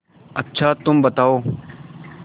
अच्छा तुम बताओ